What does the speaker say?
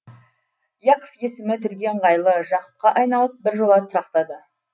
яков есімі тілге ыңғайлы жақыпқа айналып біржола тұрақтады